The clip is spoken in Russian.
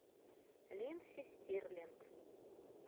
линдси стирлинг